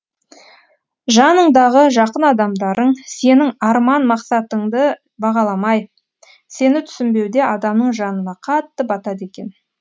жаныңдағы жақын адамдарың сенің арман мақсатыңды бағаламай сені түсінбеуде адамның жанына қатты батады екен